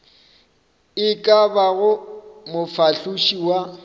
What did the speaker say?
e ka bago mofahloši wa